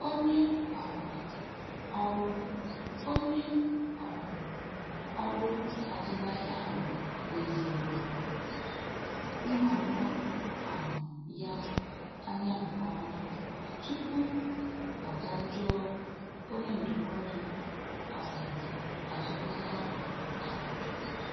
Onye um ọrụ Onye um ọrụ azụmahịa ahụ leziri nhọrọ um ya anya nke ọma tupu ọ ga jụọ onye ndụmọdụ um azụmahịa ahụ ajụjụ.